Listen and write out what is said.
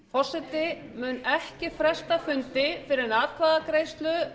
forseti mun ekki fresta fundi fyrr en